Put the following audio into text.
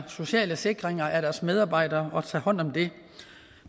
social sikring af deres medarbejdere og at tage hånd om det